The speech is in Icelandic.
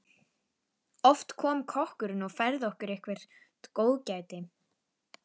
Oft kom kokkurinn og færði okkur eitthvert góðgæti.